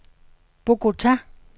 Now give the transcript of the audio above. Bogota